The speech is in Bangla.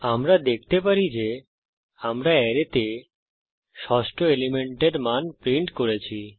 আমরা দেখতে পারি যে আমরা অ্যারেতে ষষ্ঠ এলিমেন্টের মান প্রিন্ট করছি